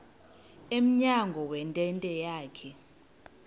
emnyango wentente yakhe